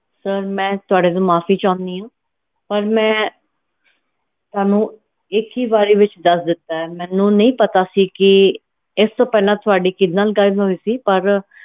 sir ਮੈਂ ਤੁਹਾਡੇ ਤੋਂ ਮਾਫੀ ਚਾਹੁਣੀ ਆ ਪਰ ਮੈਂ ਤੁਹਾਨੂੰ ਇੱਕ ਹੀ ਵਾਰੀ ਵਿਚ ਦਾਸ ਦਿੱਤਾ ਹੈ ਮੈਨੂੰ ਨਹੀਂ ਪਤਾ ਕਿ ਇਸ ਤੋਂ ਪਹਿਲਾਂ ਤੁਹਾਡੀ ਕਿਹੜੇ ਨਾਲ ਗੱਲ ਹੋਈ ਸੀ ਪਰ